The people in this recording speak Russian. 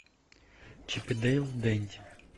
чип и дейл денди